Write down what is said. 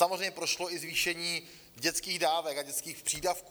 Samozřejmě prošlo i zvýšení dětských dávek a dětských přídavků.